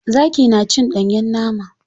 Zaki na cin ɗanyen nama.